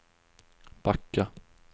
backa